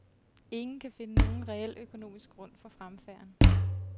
Ingen kan finde nogen reel økonomisk grund for fremfærden.